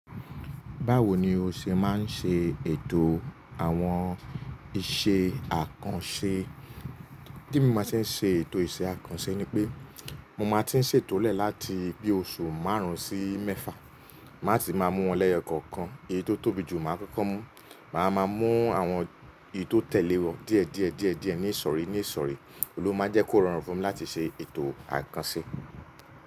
Báwo ni o ṣe máa ń ṣe ètò àwọn ìṣe àkànṣe? Bí mo ṣe ń ṣe ètò ìṣe àkànṣe ni pé mo máa tí ń ṣètòlẹ̀ láti bi oṣù márùn-ún sí mẹ́fà. Máa ti máa mú wọn lẹ́yọ̀ kọ̀ọ̀kan. Eyí tó tóbi jù máa kọ́kọ́ mú. Màá máa mú àwọn èyí tó tẹ̀lé wọ́n díẹ̀ díẹ̀ ní ìsọ̀rí. Ló máa n jẹ́ kó rọrùn fún mi láti ṣe ètò àkànṣe.